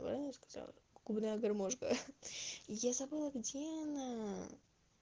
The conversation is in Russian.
правильно сказала гуляй гармошка я забыла где она